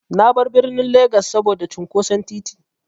Na bar birnin Legas saboda cunƙoson titi.